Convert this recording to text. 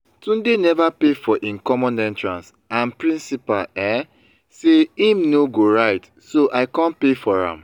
tunde never pay for im common entrance and principal um say im no go write so i come pay for am